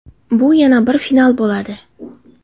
Bu yana bir final bo‘ladi.